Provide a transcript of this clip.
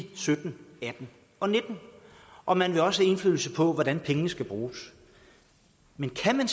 to tusind og nitten og man vil også have indflydelse på hvordan pengene skal bruges men kan man